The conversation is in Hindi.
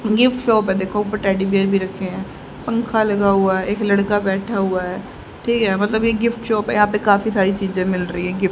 गिफ्ट शॉप है देखो ऊपर टैडी बियर भी रखे हैं पंखा लगा हुआ है एक लड़का बैठा हुआ है ठीक है मतलब ये गिफ्ट शॉप है यहां पे काफी सारी चीजें मिल रही हैं गिफ्ट ।